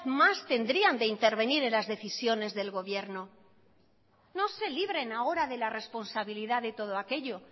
más tendrían de intervenir en las decisiones del gobierno no se libren ahora de la responsabilidad de todo aquello